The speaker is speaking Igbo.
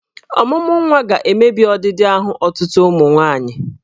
Ọmụmụnwa ga-emebi ọdịdị ahụ ọtụtụ ụmụ nwaanyị.